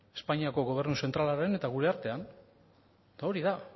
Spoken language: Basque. espainiako gobernu zentralaren eta gure artean eta hori da